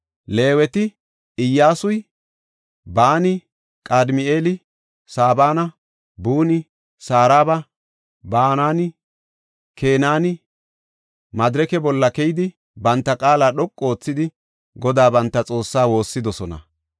Leeweti, Iyyasuy, Baani, Qadimi7eeli, Sabana, Buni, Saraba, Bananinne, Kenaani madirake bolla keyidi banta qaala dhoqu oothidi Godaa, banta Xoossaa woossidosona.